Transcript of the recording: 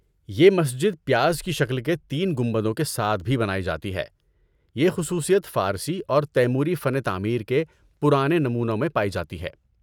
یہ مسجد پیاز کی شکل کے تین گنبدوں کے ساتھ بھی بنائی جاتی ہے، یہ خصوصیت فارسی اور تیموری فن تعمیر کے پرانے نمونوں میں پائی جاتی ہے۔